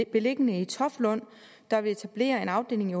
beliggende i toftlund der vil etablere en afdeling i